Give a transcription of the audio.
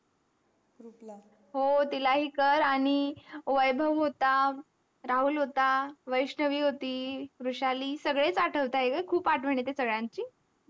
हो तिलाही कर आनी वैभव होता राहुल होता वैष्णवी होती वृषाली सगळेच अथ्व्तेत खूप आठवण येते सगळ्यांची